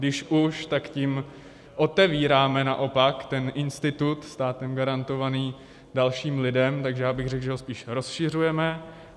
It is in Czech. Když už, tak tím otevíráme naopak ten institut státem garantovaný dalším lidem, takže já bych řekl, že ho spíš rozšiřujeme.